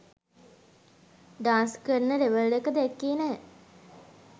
Dance කරන level එක දැක්කේ නැහැ.